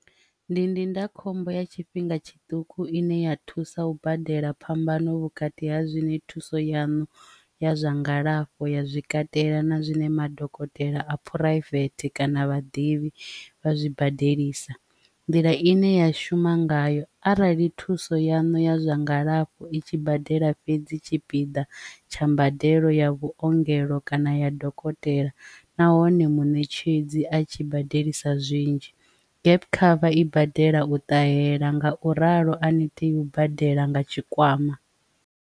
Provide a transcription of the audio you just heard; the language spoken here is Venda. Ndi ndindakhombo ya tshifhinga tshiṱuku ine ya thusa u badela phambano vhukati ha zwine thuso yanu ya zwa ngalafho ya zwi katela na zwine madokotela a phuraivethe kana vhaḓivhi vha zwi badelisa, nḓila ine ya shuma ngayo arali thuso ya no ya zwa ngalafho i tshi badela fhedzi tshipiḓa tsha mbadelo ya vhuongelo kana ya dokotela nahone munetshedzi a tshi badelisa zwinzhi gap cover i badela u ṱahela nga u ralo a ni tea u badela nga tshikwama.